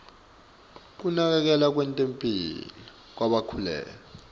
kunakekelwa kwetemphilo kwalabakhulelwe